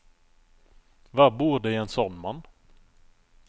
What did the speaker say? Hva bor det i en sånn mann?